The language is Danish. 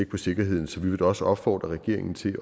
på sikkerheden så vi vil da også opfordre regeringen til